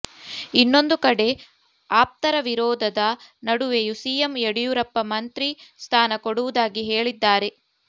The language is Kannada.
ಇನ್ನೊಂದು ಕಡೆ ಆಪ್ತರ ವಿರೋಧದ ನಡುವೆಯೂ ಸಿಎಂ ಯಡಿಯೂರಪ್ಪ ಮಂತ್ರಿ ಸ್ಥಾನ ಕೊಡುವುದಾಗಿ ಹೇಳಿದ್ದಾರೆ